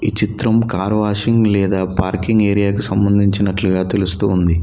చిత్రం car washing లేదా parking area కి సంబంధించినట్లుగా తెలుస్తూ ఉంది.